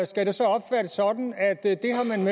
skal det så opfattes sådan